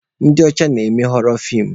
Ndị ọcha na-eme họrọ feem